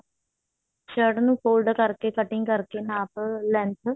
shirt ਨੂੰ fold ਕਰਕੇ cutting ਕਰਕੇ ਨਾਪ length